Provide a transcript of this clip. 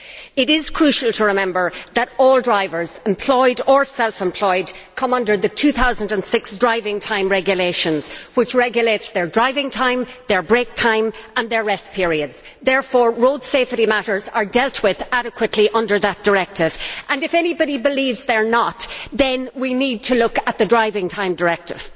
It is crucial to remember that all drivers, employed or self employed, come under the 2006 driving time regulations which regulate their driving time, their break times and their rest periods. Therefore, road safety matters are dealt with adequately under that directive, and, if anybody believes that they are not, then we need to look at the Driving Time Directive.